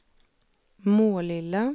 Målilla